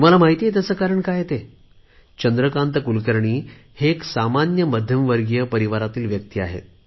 तुम्हाला माहित आहे त्याचे कारण काय आहे ते चंद्रकांत कुलकर्णी हे सामान्य मध्यम वर्गीय परिवारातील व्यक्ती आहेत